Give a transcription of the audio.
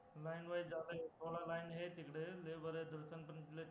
linewise जायला थोडा line हे आहे तिकडं